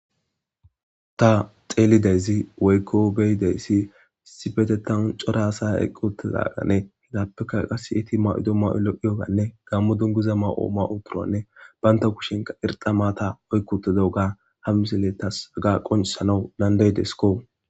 Ta xeelideyzi waykko beydeyssi isipetetawun cora asa eqqotizagane hidappeka qass iti ma'ido ma'ulo iyoganne gammo donguza ma'ooma uturanne baynta kushenka irxa maata oykkotadaoga hammisele tas aga qonisanau landay desko.